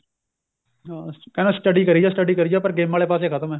ਅਹ ਕਹਿੰਦਾ study ਕਰੀ ਜੋ study ਕਰੀ ਜੋ ਪਰ ਗੇਮਾ ਵਾਲੇ ਪਾਸੇ ਖਤਮ ਏ